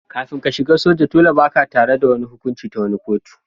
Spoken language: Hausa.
Kafin ka shiga soja, dolle ba'ka tare da wani hukunci ta wani kotu.